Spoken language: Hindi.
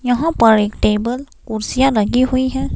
यहां पर एक टेबल कुर्सियां लगी हुई है।